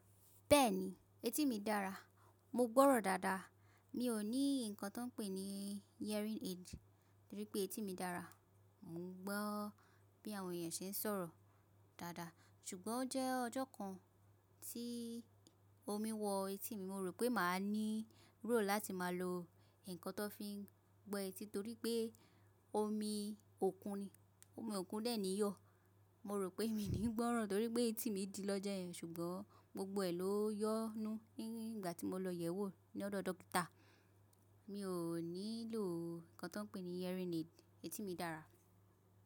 Bẹ́ẹ̀ni, etí mi dára. Mo gbọ́rọ̀ dáadáa. Mi ò ní nnkan tó ń pè ní hearing aid torí pé etí mi dára. Mo gbọ́ bí àwọn èèyàn ṣe ń sọ̀rọ̀ dáadáa. Ṣùgbọ́n ọ jẹ́ ọjọ́ kan tí omi wọ etí mi, mo rò pé màá nílò láti máa lo nǹkan tó fi ń gbẹ etí torí pé omi òkun ni, omi òkun de ni yọ̀. Mo rò pé mi ní gbọ́rọ̀ torí pé etí mi dí lọ́jọ́ yẹn, ṣùgbọ́n gbogbo ẹ̀ ló yọ́ nú nígbà tí mo lọ yẹ̀wò ní ọ̀dọ̀ dókítà. Mi ò nílò nǹkan tó ń pè ní hearing aid, etí mi dára.